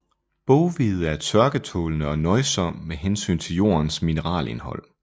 Boghvede er tørketålende og nøjsom med hensyn til jordens mineralindhold